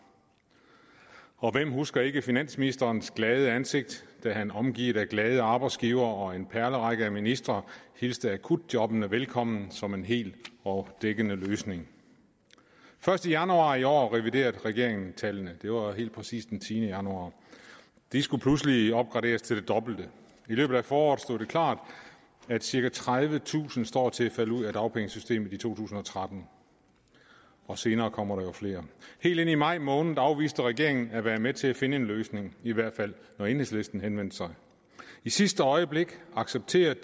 og hvem husker ikke finansministerens glade ansigt da han omgivet af glade arbejdsgivere og en perlerække af ministre hilste akutjobbene velkommen som en hel og dækkende løsning først i januar i år reviderede regeringen tallene det var helt præcis den tiende januar de skulle pludselig opgraderes til det dobbelte i løbet af foråret stod det klart at cirka tredivetusind stod til at falde ud af dagpengesystemet i to tusind og tretten og senere kommer der jo flere helt ind i maj måned afviste regeringen at være med til at finde en løsning i hvert fald når enhedslisten henvendte sig i sidste øjeblik accepterede